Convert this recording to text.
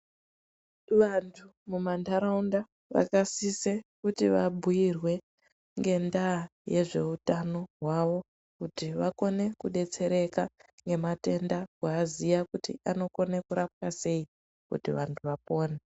Vantu mumanharaunda vakasise kuti vabhuyirwe ngenda yezveutano hwavo kuti vakone kudetsereka ngematenda kuaziya kuti anokone kurapwa sei kuti vantu vapone.